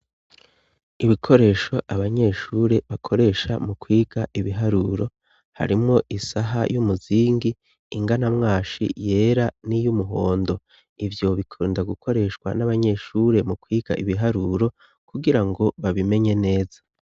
Ibikoresho abanyeshure bakoresha mu kwiga ibiharuro harimwo isaha y'umuzingi ingana mwashi yera n'iyo umuhondo ivyo bikunda gukoreshwa n'abanyeshure mu kwiga ibiharuro kugira ngo babimenye neza.